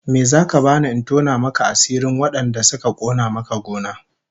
Me zaka bani in tona maka asirin wadanda suka kona maka gona?